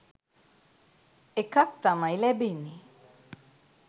එකක් තමයි ලැබෙන්නේ.